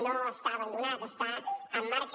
no està abandonat està en marxa